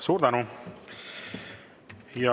Suur tänu!